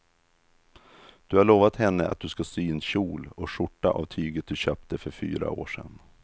Du har lovat henne att du ska sy en kjol och skjorta av tyget du köpte för fyra år sedan.